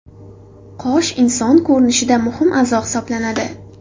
Qosh inson ko‘rinishida muhim a’zo hisoblanadi.